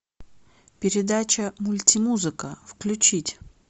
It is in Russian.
передача мультимузыка включить